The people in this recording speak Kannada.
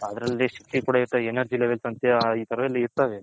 ಅದರಲ್ಲಿ ಶಕ್ತಿ energy levels ಈ ತರಾವ್ ಎಲ್ಲಾ ಇರ್ತವೆ